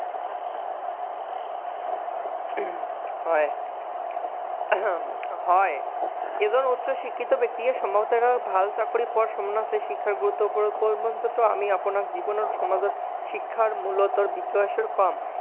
হয়, এজন উচ্চ শিক্ষিত ব্যক্তিয়ে ভাল চাকৰি পোৱাতো শিক্ষাৰ ওপৰত গুৰুত্ব